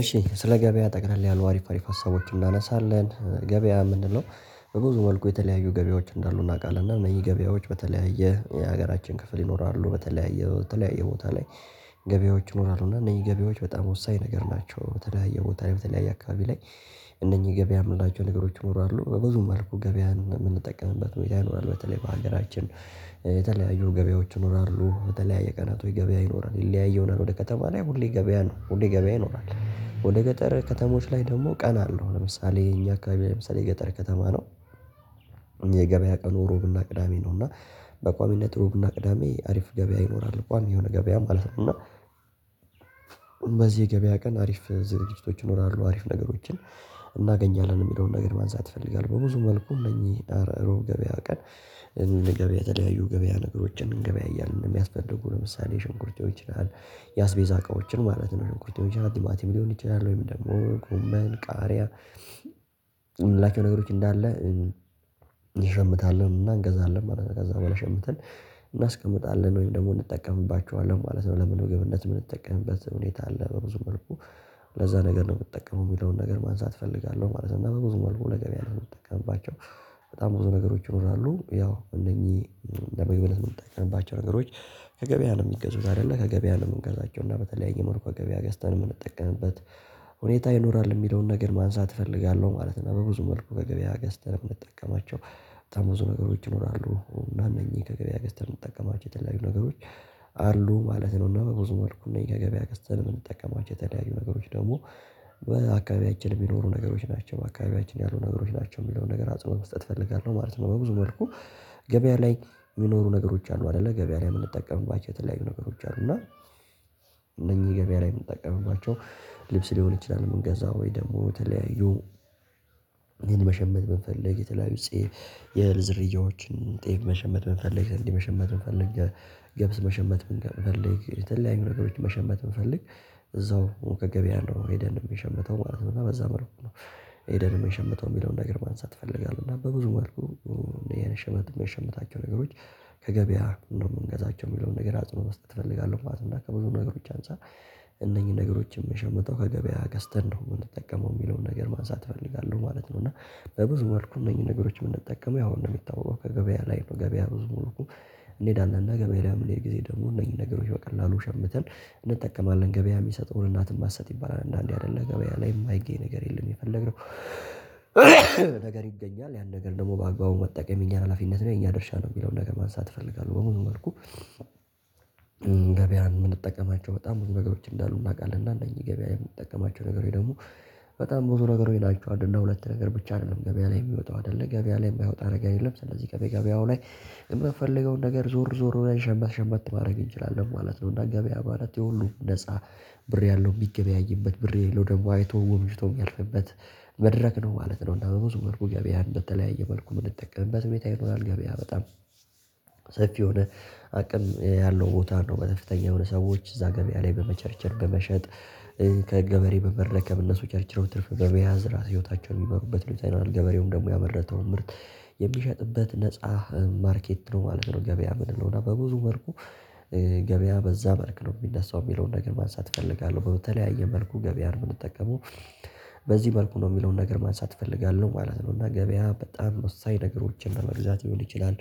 እሺ ስለ ገበያ ጠቅለል ያሉ አሪፍ አሪፍ ሀሳቦችን እናነሳለን ገበያ ምንድነው? በብዙ መልኩ የተለያዩ ገበያዎች እንዳሉ እናውቃለን እነዚህ ገበያዎች በተለያየ የሀገራችን ክፍል ይኖራሉ በተለያየ በተለያየ ቦታ ላይ። ገበያዎች ይኖራሉ እና እነዚህ ገበያዎች በጣም ወሳኝ ነገር ናቸው በተለያየ ቦታ ላይ በተለያየ አካባቢ ላይ። እነኚህ ገበያ የምላቸው ነገሮች መሆኑ አሉ በብዙ መልኩ ገበያን የምንጠቀምበት ሁኔታ ይኖራል በተለይ በሀገራችን። የተለያዩ ገበያዎች ይኖራሉ በተለያየ ቀናቶች ገበያ ይኖራል ይለያየውናል ወደ ከተማ ላይ ሁሌ ገበያ ነው ሁሌ ገበያ ይኖራል ወደ ገጠር ከተሞች ላይ ደግሞ ቀን አለው ለምሳሌ እኛ አካባቢ ለምሳሌ ገጠር ከተማ ነው። የገበያ ቀኑ ሩብና ቅዳሜ ነው እና በቋሚነት እሮብና ቅዳሜ አሪፍ ገበያ ይኖራል ቋሚ የሆነ ገበያ ማለት ነው። እና በዚህ የገበያ ቀን አሪፍ ዝርዝር ዝግጅቶች ይኖራሉ አሪፍ ነገሮችን እናገኛለን የሚለውን ነገር ማንሳት እፈልጋለሁ። በብዙ መልኩ እነኚህ እሮብ ገበያ ቀን። እንደ ገበያ የተለያዩ ገበያ ነገሮችን እንገበያያለን እያልን የሚያስፈልጉ ለምሳሌ ሽንኩርቴው ይችላል። ያስቤዛ እቃዎችን ማለት ነው ሽንኩርቴው ይችላል ቲማቲም ሊሆን ይችላል ወይ ምን ደግሞ ጎመን ቃሪያ። ምንላቸው ነገሮች እንዳለ። እሸምታለሁ እና እንገዛለን ማለት ነው። ከዛ በኋላ ሸምተን እናስቀምጣለን ወይም ደግሞ እንጠቀምባቸዋለን ማለት ነው። ለምግብነት የምንጠቀምበት ሁኔታ አለ ብዙ መልኩ። ለዛ ነገር ነው የምጠቀመው የሚለውን ነገር ማንሳት እፈልጋለሁ ማለት ነው። ብዙ መልኩ ነገር ያለው የምትጠቀምባቸው በጣም ብዙ ነገሮች ይኖራሉ። ያው እነኚህ ለምግብነት ምንጠቀምባቸው ባቸር ነገሮች። ከገበያ ነው የሚገዙት አይደለ ከገበያ ነው የምንገዛቸው እና በተለያየ መርኮ ገበያ ገዝተን የምንጠቀምበት ሁኔታ ይኖራል የሚለውን ነገር ማንሳት እፈልጋለሁ። ማለት ነው። በብዙ መልኩ ከገበያ ገዝተን የምጠቀማቸው በጣም ብዙ ነገሮች ይኖራሉ። እነኚህ ከገበያ ገስተን የምትጠቀማቸው የተለያዩ ነገሮች አሉ ማለት ነው። እና በብዙ መልኩ እነዚህ ከገበያ ገዝተን የምንጠቀማቸው የተለያዩ ነገሮች ደግሞ በአካባቢያችን የሚኖሩ ነገሮች ናቸው። በአካባቢያችን ያሉ ነገሮች ናቸው የሚለውን ነገር አጽዕቦ መስጠት እፈልጋለሁ ማለት ነው። በብዙ መልኩ ገበያ ላይ የሚኖሩ ነገሮች አሉ አይደለ ገበያ ላይ የምንጠቀምባቸው የተለያዩ ነገሮች አሉ። እና እነኚህ ገበያ ላይ የምንጠቀምባቸው ልብስ ሊሆን ይችላል ምንገዛው ወይ ደግሞ ተለያዩ። እህልን መሸመት ብንፈልግ የተለያዩ ጤፍ የዝርያዎችን ጤፍ መሸመት ብንፈልግ መሸመት መፈለግ ገብስ መሸመት ብንፈልግ የተለያዩ መሸመት ብንፈልግ እዛው ከገበያ ነው ኤደን የምሸምተው ማለት ነው በዛ መልኩ ነው። ኤደንም የሸመተው የሚለውን ነገር ማንሳት እፈልጋለሁ። እና በብዙ መልኩ የሸመት የሸመታቸው ነገሮች ከገበያ ነው የምንገዛቸው የሚለውን ነገር አጽኖ መስጠት እፈልጋለሁ። ማለት እና ከብዙ ነገሮች አንፃር እነኚህን ነገሮች የምሸምተው ከገበያ ገዝተን ነው የምንጠቀመው የሚለውን ነገር ማንሳት እፈልጋለሁ ማለት ነው። እና በብዙ መልኩ እነኚህን ነገሮች የምንጠቀመው ያው እንደሚታወቀው ከገበያ ላይ ነው ገበያ ብዙ መልኩ። እንሄዳለን እና ገበያ ላይ ለምን ሌላ ጊዜ ደግሞ እነዚህ ነገሮች በቀላሉ ሸምተን እንጠቀማለን ገበያ የሚሰጠውን እናትም ማሰጥ ይባላል። አንዳንዴ አይደለ ገበያ ላይ የማይገኝ ነገር የለም የፈለግነው። ይገኛል ያን ነገር ደግሞ በአግባቡ መጠቀም የኛን ሀላፊነት ነው የኛ ድርሻ ነው የሚለውን ነገር ማንሳት እፈልጋለሁ በሙሉ መልኩ። ገበያን የምንጠቀማቸው በጣም ብዙ ነገሮች እንዳሉ እናውቃለን። እና እነዚህ ገበያ የምንጠቀማቸው ነገሮች ወይ ደግሞ በጣም ብዙ ነገር ወይ ይላችኋል እንደ ሁለት ነገር ብቻ አይደለም። ገበያ ላይ የሚወጣው አይደለ ገበያ ላይ የማይወጣ አደረገ የለም። ስለዚህ ገበያ ገበያው ላይ የምንፈልገውን ነገር ዞር ዞር ወደ ሸመተ ሸመተ ማድረግ እንችላለን ማለት ነው። እና ገበያ ማለት የሁሉ ነፃ ብር ያለው የሚገበያይበት ብር የለው ደግሞ አይቶ ጎምጅቶ የሚያልፍበት መድረክ ነው ማለት ነው። እና በብዙ መልኩ ገበያ እንደተለያየ መልኩ ብንጠቀምበት ሁኔታ ይኖራል ገበያ በጣም ሰፊ የሆነ። አቅም ያለው ቦታ ነው በከፍተኛ የሆኑ ሰዎች እዛ ገበያ ላይ በመቸርቸር በመሸጥ ከገበሬ በመረከብ እነሱ ቸርቸሮ ትርፍ በበያዝ ህይወታቸውን የሚመሩበት ሉይተናል። ገበሬውም ደግሞ ያመረተውን ምርት የሚሸጥበት ነፃ ማርኬት ነው ማለት ነው። ገበያ የምልለው እና በብዙ መልኩ። ገበያ በዛ መልክ ነው የሚነስው የሚለውን ነገር ማንሳት እፈልጋለሁ በተለያየ መልኩ ገበያ ነው የምንጠቀመው። በዚህ መልኩ ነው የሚለውን ነገር ማንሳት እፈልጋለሁ ማለት ነው። እና ገበያ በጣም ወሳኝ ነገሮችን ለመግዛት ሊሆን ይችላል።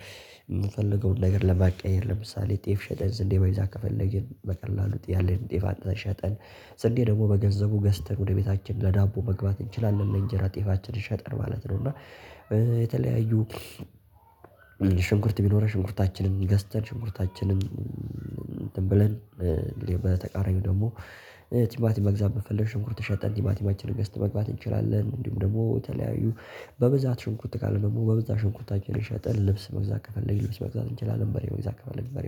የምፈልገውን ነገር ለማቀየር ለምሳሌ ጤፍ ሸጠን ዝንዴ ባይ ዛክ ከፈለግን በቀላሉ ጥያለን ጤፋ አጥተን ሸጠን ስንዴ ደግሞ በገንዘቡ ገስተን ወደ ቤታችን ለዳቦ መግባት እንችላለን። ለእንጀራ ጤፋችን ሸጠን ማለት ነው። እና የተለያዩ ሽንኩርት ቢኖር ሽንኩርታችንን ገዝተን ሽንኩርታችንን እንትን ብለን በተቃራኒው ደግሞ ቲማቲም መግዛት በፈለገ ሽንኩርት ሽጠን ቲማቲማችንነ ገዝተን መግባት እንችላለን። እንዲሁም ደግሞ ተለያዩ በብዛት ሽንኩት ካለ ደግሞ በዛ ሽንኩርታችንን ሸጥን ልብስ መግዛት ከፈለግን ልብስ መግዛት እንችላለን በሬ መግዛት ከፈለግን በሬ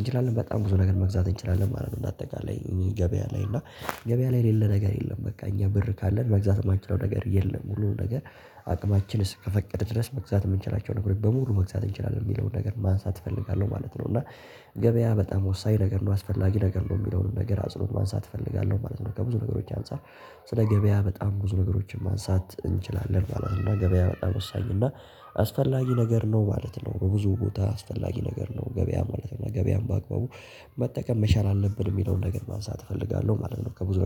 እንችላለን በጣም ብዙ ነገር መግዛት እንችላለን ማለት ነው። እንደ አጠቃላይ ገበያ ላይ እና ገበያ ላይ የሌለ ነገር የለም። በቃ እኛ ብር ካለን መግዛት የማንችለው ነገር የለም። ሙሉን ነገር አቅማችንስ ከፈቀደ ድረስ መግዛት የምንችላቸው ነገሮች በሙሉ መግዛት እንችላለን የሚለውን ነገር ማንሳት እፈልጋለሁ ማለት ነው። እና ገበያ በጣም ወሳኝ ነገር ነው አስፈላጊ ነገር ነው የሚለውን ነገር አጽኖት ማንሳት እፈልጋለሁ ማለት ነው። ከብዙ ነገሮች አንፃር ስለ ገበያ በጣም ብዙ ነገሮችን ማንሳት እንችላለን። በኋላ እና ገበያ በጣም ወሳኝ እና አስፈላጊ ነገር ነው ማለት ነው። በብዙ ቦታ አስፈላጊ ነገር ነው። ገበያ ማለት ነው ገበያም በአግባቡ መጠቀም መቻል አለብን የሚለውን ነገር ማንሳት እፈልጋለሁ ማለት ነው። ከብዙ